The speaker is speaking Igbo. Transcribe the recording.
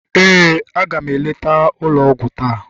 ee, a ga m eleta ụlọ ọgwụ taa.